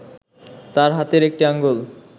তার হাতের একটি আঙ্গুল